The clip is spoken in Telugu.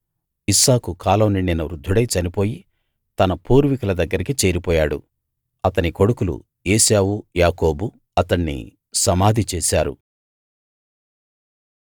ఇస్సాకు కాలం నిండిన వృద్ధుడై చనిపోయి తన పూర్వికుల దగ్గరికి చేరిపోయాడు అతని కొడుకులు ఏశావు యాకోబు అతణ్ణి సమాధి చేశారు